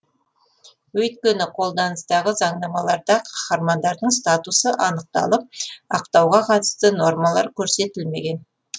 өйткені қолданыстағы заңнамаларда қаһармандардың статусы анықталып ақтауға қатысты нормалар көрсетілмеген